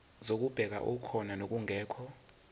zokubheka okukhona nokungekho